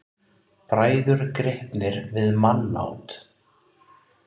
Bræður gripnir við mannát